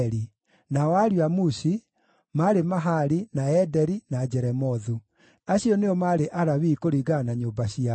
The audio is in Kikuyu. Nao ariũ a Mushi: maarĩ Mahali, na Ederi, na Jeremothu. Acio nĩo maarĩ Alawii kũringana na nyũmba ciao.